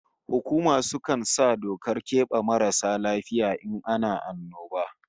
Hukuma sukan sa dokar kebe marasu lafiya in ana annoba